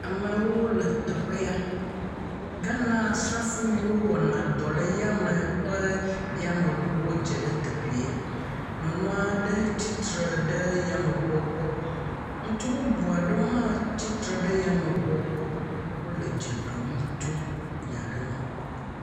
Amewo le teƒe ya. Ghana Srafo yiwo wɔna dɔ le yame ƒe yameŋuɔ dze ɖe teƒeɛ. Nyɔnu aɖe tsi tre ɖe yameŋuɔ gbɔ. Ŋutsu bubu aɖewo hã tsi tre ɖe yameŋuɔ gbɔ. Wole dze ɖom tso nya aɖe ŋu.